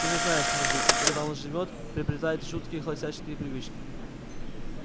ты же знаешь мужик когда один живёт приобретает жуткие холостяцкие привычки